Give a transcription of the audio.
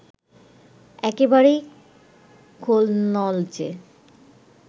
একেবারেই খোলনলচে